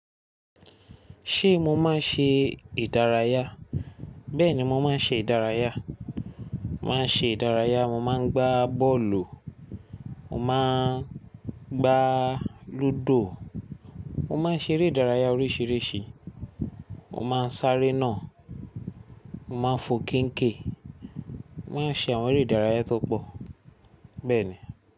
Ṣé mo máa ń ṣe ìdárayá? Bẹ́ẹ̀ni, mo máa ń ṣe ìdárayá. Mo máa ń ṣe ìdárayá, mo máa ń gbá bọ́ọ̀lù, mo máa ń gbá lúdò, mo máa ń ṣe eré ìdárayá oríṣiríṣi, mo máa ń sáré iná, mo máa ń fo kínkè, màá ń ṣe àwọn eré ìdárayá tó pọ̀, bẹ́ẹ̀ ni.